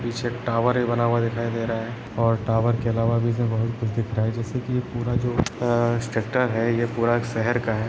पीछे एक टावर भी बना हुआ दिखाई रहा है और टावर के अलावा भी इसमें बहुत कुछ दिख रहा है जैसे की पूरा जो स्ट्रक्चर है ये पूरा एक शहर का है।